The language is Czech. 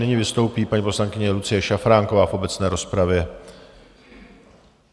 Nyní vystoupí paní poslankyně Lucie Šafránková v obecné rozpravě.